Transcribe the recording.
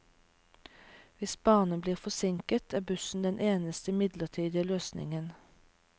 Hvis banen blir forsinket, er busser den eneste midlertidige løsningen.